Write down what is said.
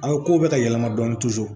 An ye kow bɛ ka yɛlɛma dɔɔni